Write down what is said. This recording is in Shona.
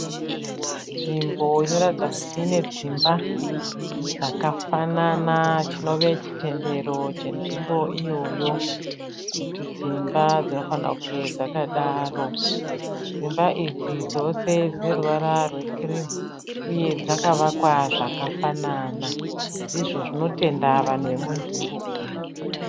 Nzvimbo inoratidza kuti ine dzimba dzakafanana chinove chitendero chenzvimbo iyoyo. Kuti dzimba dzinofanirwa kunge dzakadaro. Dzimba idzi dzose dzine ruvra rwekirimuuye dzakavakwa zvakafanana ndizvo zvinotenda vanhu venzvimbo umu.